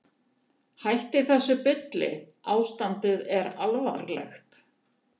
Hættiði þessu bulli, ástandið er alvarlegt.